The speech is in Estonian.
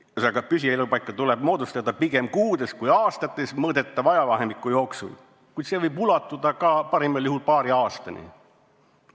Ühesõnaga, püsielupaika tuleb moodustada pigem kuudes kui aastates mõõdetava ajavahemiku jooksul, kuid see võib ulatuda parimal juhul paari aastani.